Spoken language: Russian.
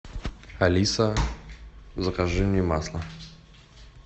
алиса закажи мне масло